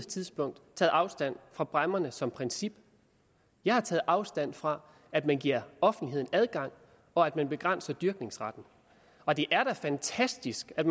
tidspunkt taget afstand fra bræmmerne som princip jeg har taget afstand fra at man giver offentligheden adgang og at man begrænser dyrkningsretten og det er da fantastisk at